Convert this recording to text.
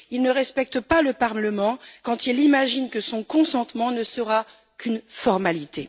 Il ne respecte pas le Parlement quand il imagine que son consentement ne sera qu'une formalité.